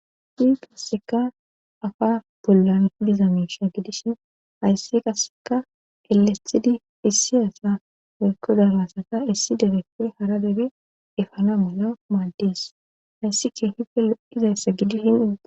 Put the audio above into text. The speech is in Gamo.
Hi qasseka afa bollan idiza miisha gidishin hayssi qasseka elestidi issi hasa merkodabasata issi debetor hara debi efana mala maaldis hayssi chi hipe loizayssa gidi shin.